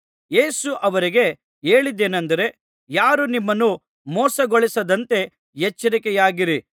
ಯೇಸು ಅವರಿಗೆ ಹೇಳಿದ್ದೇನಂದರೆ ಯಾರೂ ನಿಮ್ಮನ್ನು ಮೋಸಗೊಳಿಸದಂತೆ ಎಚ್ಚರಿಕೆಯಾಗಿರಿ